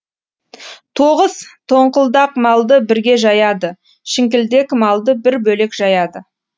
тоғыз тоңқылдак малды бірге жаяды шіңкілдек малды бір бөлек жаяды